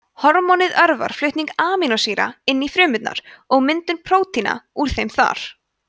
hormónið örvar flutning amínósýra inn í frumurnar og myndun prótína úr þeim þar